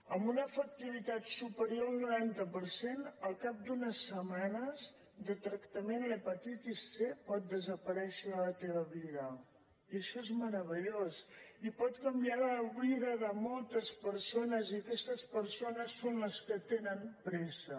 amb una efectivitat superior al noranta per cent al cap d’unes setmanes de tractament l’hepatitis c pot desaparèixer de la teva vida i això és meravellós i pot canviar la vida de moltes persones i aquestes persones són les que tenen pressa